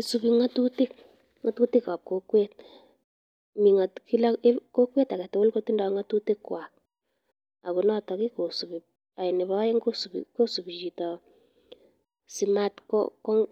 Isubi ng'otutik, ng'otutikab kokwet mii kila kokwet kotindo ng'otutikwak ak ko notok kosibi, nebo oeng kosibi chito simatko